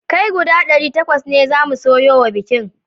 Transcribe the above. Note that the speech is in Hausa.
Kai guda ɗari takwas zamu soya wa bikin